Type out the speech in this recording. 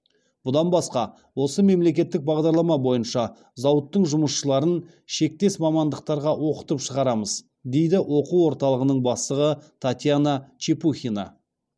бұдан басқа осы мемлекеттік бағдарлама бойынша зауыттың жұмысшыларын шектес мамандықтарға оқытып шығарамыз дейді оқу орталығының бастығы татьяна чепухина